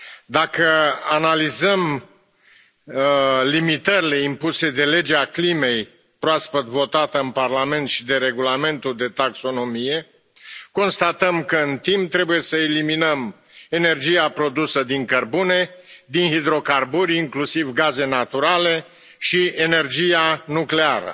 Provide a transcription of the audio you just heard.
Dacă analizăm limitările impuse de Legea climei, proaspăt votată în Parlament, și de Regulamentul de taxonomie, constatăm că, în timp, trebuie să eliminăm energia produsă din cărbune, din hidrocarburi inclusiv gaze naturale și energia nucleară.